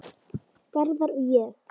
Garðar og ég